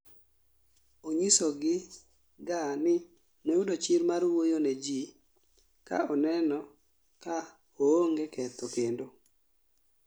Onyisogi ga ni noyudo chir mar wuoyo ne ji ka oneno ka oonge ketho kendo